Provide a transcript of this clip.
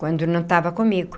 Quando não estava comigo.